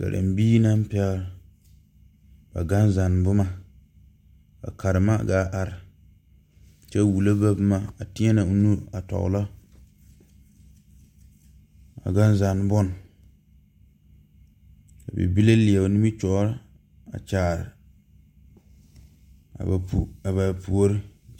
Karembiire naŋ pɛgle ba gan zanne boma ka karema gaa are kyɛ wullo ba boma a teɛnɛ o nu a tɔglɔ a gan zanne bon bibile leɛ o nimitoore a kyaare a ba puore.